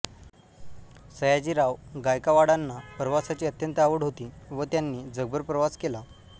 सयाजीराव गायकावाडांना प्रवासाची अत्यंत आवड होती व त्यांनी जगभर प्रवास केला